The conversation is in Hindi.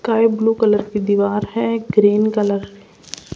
काय ब्लू कलर की दीवार है एक ग्रीन कलर --